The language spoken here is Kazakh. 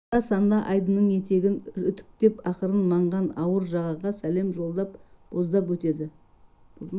анда-санда айдынның етегін үтіктеп ақырын маңған ауыр жағаға сәлем жолдап боздап өтеді